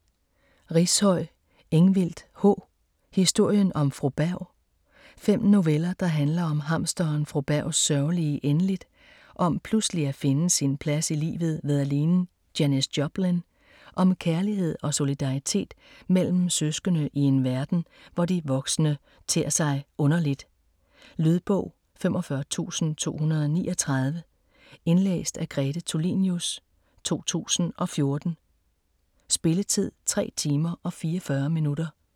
Rishøi, Ingvild H.: Historien om Fru Berg Fem noveller der handler om hamsteren Fru Bergs sørgelige endeligt, om pludselig at finde sin plads i livet ved at ligne Janis Joplin, om kærlighed og solidaritet mellem søskende i en verden, hvor de voksne tér sig underligt. Lydbog 45239 Indlæst af Grete Tulinius, 2014. Spilletid: 3 timer, 44 minutter.